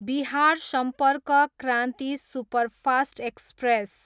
Bihar Sampark Kranti superfast express